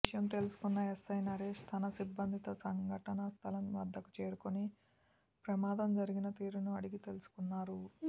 విషయం తెలుసుకున్న ఎస్సై నరేష్ తన సిబ్బందితో సంఘటనా స్థలం వద్దకు చేరుకొని ప్రమాదం జరిగిన తీరును అడిగి తెలుసుకున్నారు